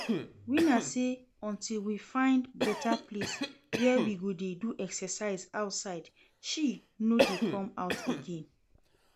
Winner say until we find better place where we go dey do exercise outside she no dey come out again